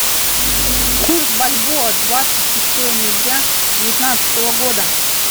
курс бальбоа двадцать шестое ноября девятнадцатого года